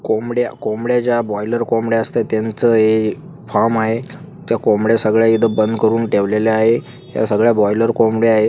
कोंबड्या-कोंबड्या ज्या बॉयलर कोंबड्या असतात त्यांचं हे फार्म आहे. त्या कोंबड्या इथं बंद करून ठेवलेले आहे या सगळ्या बॉयलर कोंबड्या आहे.